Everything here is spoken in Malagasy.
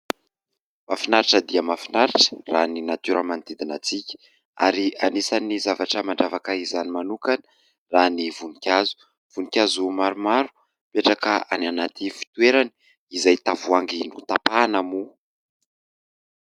Mahafinaritra dia mahafinaritra raha ny natiora manodidina antsika ary anisany zavatra mandravaka izany manokana raha ny voninkazo. Voninkazo maromaro mipetraka any anaty fitoerany izay tavoahangy notampahana moa.